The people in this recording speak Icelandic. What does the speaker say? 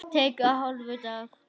Tekur hálfan dag.